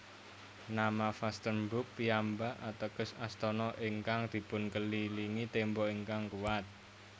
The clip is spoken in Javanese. Nama Vastenburg piyambak ateges Astana ingkang dipunkelilingi tembok ingkang kuwat